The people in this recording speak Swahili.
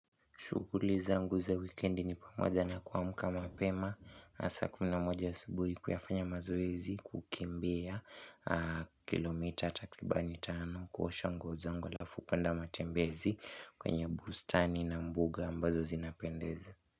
Shughuli zangu za wikendi ni pamoja na kuamka mapema hasa saa kumi na moja asubuhi kuyafanya mazoezi kukimbia Kilometer takribani tano kuosha nguo zangu halafu kwenda matembezi kwenye bustani na mbuga ambazo zinapendeza.